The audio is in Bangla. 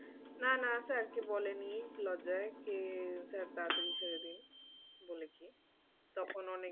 না না sir কে বলেনি লজ্জায় কি sir তাড়াতাড়ি ছেড়ে দিন বলেছে তখন অনেক,